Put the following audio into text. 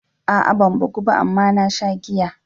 A'a ban bugu ba amma na sha giya.